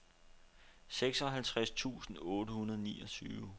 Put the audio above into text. seksoghalvtreds tusind otte hundrede og niogtyve